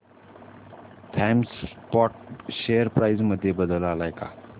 Thomas Scott share price मध्ये बदल आलाय का